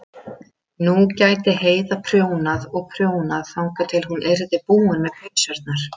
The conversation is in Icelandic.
Hálfeitt hugsa ég til þín.